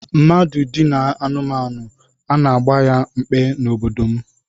Mmadụ dinaa anụmanụ, a na-agba ya mkpe n'obodo m